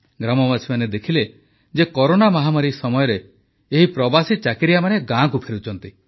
ଗ୍ରାମବାସୀମାନେ ଦେଖିଲେ ଯେ କରୋନା ମହାମାରୀ ସମୟରେ ଏହି ପ୍ରବାସୀ ଚାକିରିଆମାନେ ଗାଁକୁ ଫେରୁଛନ୍ତି